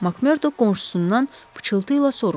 Makmordu qonşusundan pıçıltı ilə soruşdu.